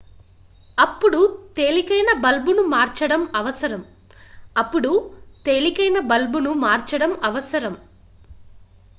అప్పుడు తేలికైన బల్బును మార్చడం అవసరం అప్పుడు తేలికైన బల్బును మార్చడం అవసరం